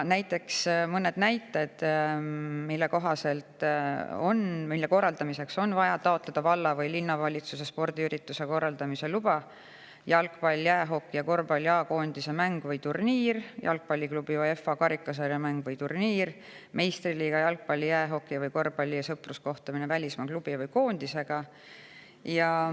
Mõned näited, mille korraldamiseks on vaja taotleda valla- või linnavalitsuselt spordiürituse korraldamise luba: jalgpalli, jäähoki ja korvpalli A-koondise mäng või turniir; jalgpalliklubi UEFA karikasarja mäng või turniir; meistriliiga jalgpalli-, jäähoki- või korvpalliklubi sõpruskohtumine välismaa klubi või koondisega.